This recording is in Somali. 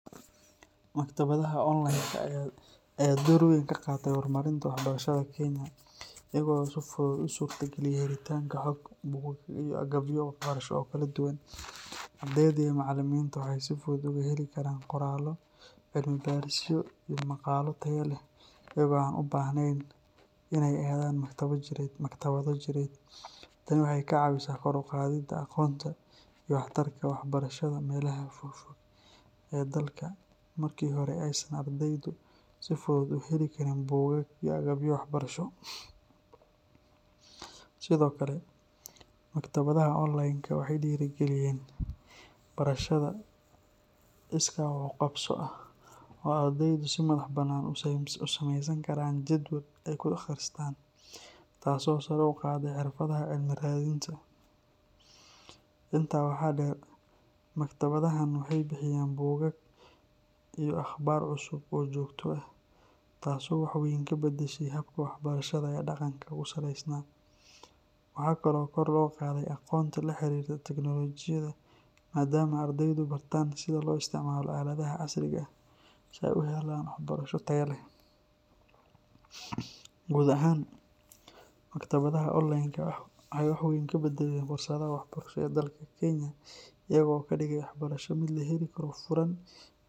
Maktabadaha onlaynka ah ayaa door weyn ka qaatay horumarinta waxbarashada Kenya iyaga oo si fudud u suurtageliyay helitaanka xog, buugaag, iyo agabyo waxbarasho oo kala duwan. Ardayda iyo macallimiinta waxay si fudud uga heli karaan qoraallo, cilmibaarisyo, iyo maqaallo tayo leh iyaga oo aan u baahnayn inay aadaan maktabado jireed. Tani waxay ka caawisay kor u qaadidda aqoonta iyo waxtarka waxbarashada meelaha fogfog ee dalka oo markii hore aysan ardaydu si fudud u heli karin buugaag iyo agabyo waxbarasho. Sidoo kale, maktabadaha onlaynka ah waxay dhiirrigeliyeen barashada iskaa wax u qabso ah oo ay ardaydu si madax bannaan u samaysan karaan jadwal ay ku akhristaan, taasoo sare u qaaday xirfadaha cilmi raadinta. Intaa waxaa dheer, maktabadahan waxay bixiyaan buugaag iyo akhbaar cusub oo joogto ah taasoo wax weyn ka beddeshay habka waxbarashada ee dhaqanka ku salaysnaa. Waxa kale oo kor loo qaaday aqoonta la xiriirta tiknoolajiyadda maaddaama ardaydu bartaan sida loo isticmaalo aaladaha casriga ah si ay u helaan waxbarasho tayo leh. Guud ahaan, maktabadaha onlaynka ah waxay wax weyn ka beddeleen fursadaha waxbarasho ee dalka Kenya iyaga oo ka dhigay waxbarasho mid la heli karo, furan.